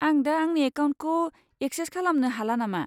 आं दा आंनि एकाउन्टखौ एक्सेस खालामनो हाला नामा?